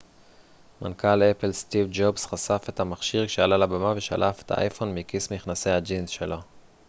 מנכ ל אפל סטיב ג'ובס חשף את המכשיר כשעלה לבמה ושלף את האייפון מכיס מכנסי הג'ינס שלו